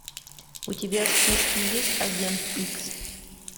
у тебя в списке есть агент икс